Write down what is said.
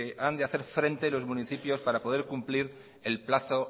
han de hacer frente los municipios para poder cumplir el plazo